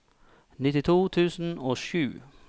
nittito tusen og sju